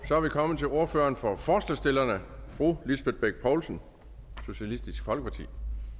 så er vi kommet til ordføreren for forslagsstillerne fru lisbeth bech poulsen socialistisk folkeparti